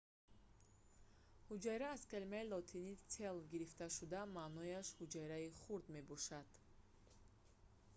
ҳуҷайра аз калимаи лотинии cella гирифта шуда маънояш ҳуҷраи хурд мебошад